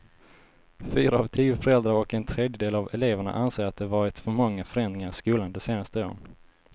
Fyra av tio föräldrar och en tredjedel av eleverna anser att det varit för många förändringar i skolan de senaste åren.